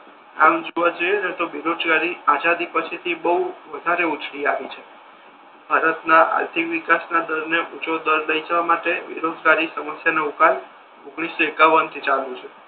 આમ જોવા જઈએ ને તો બેરોજગારી આઝાદીપછી બહુ વધારે ઉછળી આવી છે ભારત ના આર્થિક વિકાસ ના દર ને ઊંચો દર દઈ જવા માટે બેરોજગારી સમસ્યા નો ઉકેલ ઓગણીસો એકાવન થી ચાલુ છે.